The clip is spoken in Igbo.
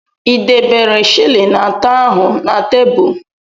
Ị debere shịlịn atọ ahu na tebụl?